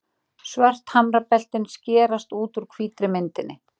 Svört hamrabeltin skerast út úr hvítri myndinni.